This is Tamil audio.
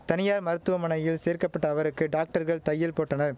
தனியார் மருத்துவமனையில் சேர்க்க பட்ட அவருக்கு டாக்டர்கள் தையல் போட்டன